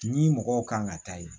Ni mɔgɔw kan ka taa yen